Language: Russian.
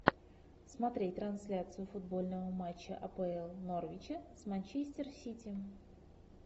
смотреть трансляцию футбольного матча апл норвича с манчестер сити